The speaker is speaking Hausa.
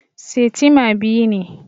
Setimer biyu ne